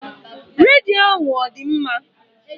Redio ahụ ọ dị mma?